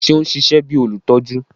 Ṣe o n ṣiṣẹ bi olutọju?